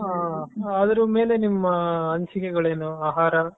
ಅದರ ಮೇಲೆ ನಿಮ್ಮ ಅನಿಸಿಕೆಗಳೇನು ಆಹಾರ.